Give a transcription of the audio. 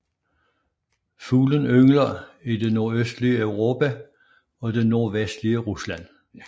Fuglen yngler i det nordøstlige Europa og det nordvestlige Rusland